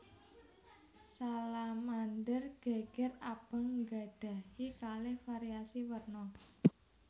Salamander geger abang nggadhahi kalih variasi werna